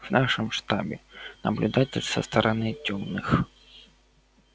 в нашем штабе наблюдатель со стороны тёмных